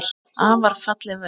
Afar falleg verk.